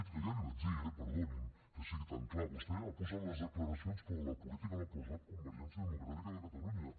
jo ja li ho vaig dir eh perdoni’m que sigui tan clar vostè ha posat les declaracions però la política l’ha posat convergència democràtica de catalunya